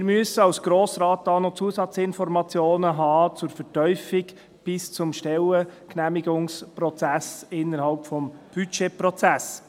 Wir müssen als Grosser Rat hier zur Vertiefung noch Zusatzinformationen haben, noch vor dem Stellengenehmigungsprozess innerhalb des Budgetprozesses.